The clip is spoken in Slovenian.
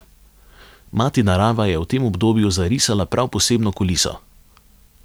Mati narava je v tem obdobju zarisala prav posebno kuliso.